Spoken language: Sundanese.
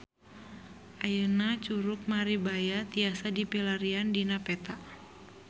Ayeuna Curug Maribaya tiasa dipilarian dina peta